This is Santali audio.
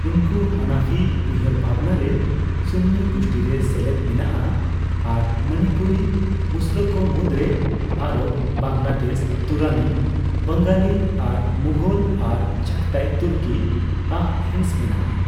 ᱩᱱᱠᱩ ᱦᱟᱱᱟᱯᱷᱤ ᱩᱭᱦᱟᱹᱨ ᱵᱷᱟᱵᱽᱱᱟᱨᱮ ᱥᱩᱱᱱᱤ ᱜᱩᱥᱴᱤᱨᱮ ᱥᱮᱞᱮᱫ ᱢᱮᱱᱟᱜᱼᱟ ᱟᱨ ᱢᱚᱱᱤᱯᱩᱨᱤ ᱢᱩᱥᱞᱟᱹᱠᱚ ᱢᱩᱫᱽᱨᱮ ᱟᱨᱚᱵ, ᱵᱟᱝᱞᱟᱫᱮᱥ, ᱛᱩᱨᱟᱱᱤ, ᱵᱟᱝᱟᱞᱤ ᱟᱨ ᱢᱩᱜᱷᱚᱞ ᱟᱨ ᱪᱟᱜᱷᱛᱟᱭ ᱛᱩᱨᱠᱤᱭᱟᱜ ᱦᱤᱸᱥ ᱢᱮᱱᱟᱜᱼᱟ᱾